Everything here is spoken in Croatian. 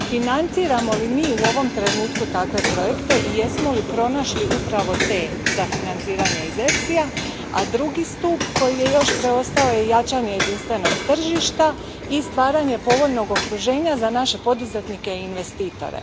Financiramo li mi u ovom trenutku takve projekte i jesmo li pronašli upravo te za financiranje iz EFSI ja? A drugi stup koji je još preostao je jačanje jedinstvenog tržišta i stvaranje povoljnog okruženja za naše poduzetnike i investitore.